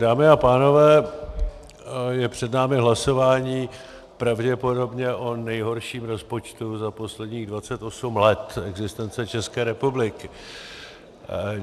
Dámy a pánové, je před námi hlasování pravděpodobně o nejhorším rozpočtu za posledních 28 let existence České republiky.